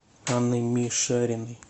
анной мишариной